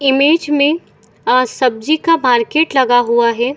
Image में आ सब्जी का मार्केट लगा हुआ है।